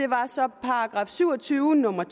var så § syv og tyve nummer